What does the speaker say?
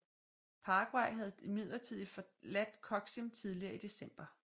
Paraguay havde imidlertid forladt Coxim tidligere i december